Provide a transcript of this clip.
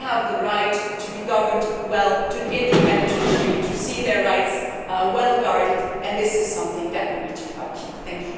They have the right to be governed well, to an independent judiciary, and to see their rights well guarded, and that is something which we need to maintain.